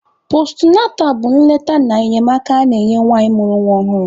Postunatal bụ nleta na enyemaka a na-enye nwanyị mụrụ nwa ọhụrụ.